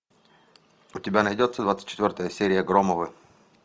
у тебя найдется двадцать четвертая серия громовы